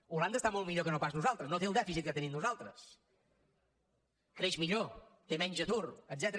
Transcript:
holanda està molt millor que no pas nosaltres no té el dèficit que tenim nosaltres creix millor té menys atur etcètera